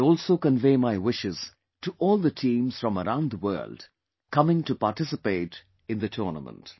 I also convey my wishes to all the teams from around the world coming to participate in the tournament